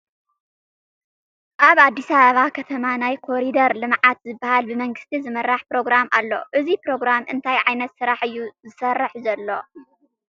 ኣብ ኣዲስ ኣባባ ከተማ ናይ ኮሪደር ልምዓት ዝበሃል ብመንግስቲ ዝምራሕ ፕሮግራም ኣሎ፡፡ እዚ ፕሮግራም እንታይ ዓይነት ስራሕ እዩ ዝሰርሕ ዘሎ?